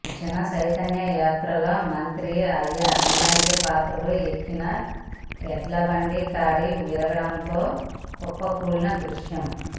జనచైతన్య యాత్రలో మంత్రి అయ్యన్నపాత్రుడు ఎక్కిన ఎడ్లబండి కాడి విరగడంతో కుప్పకూలిన దృశ్యం